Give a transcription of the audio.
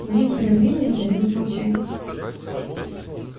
на некоторое время воцарилось молчание